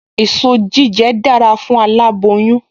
Èso jíjẹ dára fún aláboyún